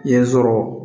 Yen sɔrɔ